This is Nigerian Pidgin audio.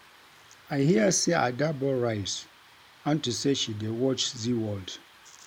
I hear say Ada burn rice unto say she dey watch zeaworld